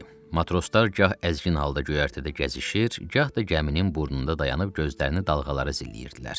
Matroslar gah əzgin halda göyərtədə gəzişir, gah da gəminin burnunda dayanıb gözlərini dalğalara zilləyirdilər.